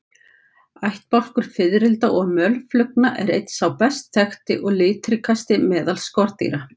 Ættbálkur fiðrilda og mölflugna er einn sá best þekkti og litríkasti meðal skordýra.